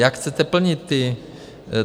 Jak chcete plnit ty...